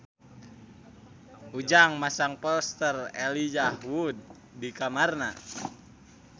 Ujang masang poster Elijah Wood di kamarna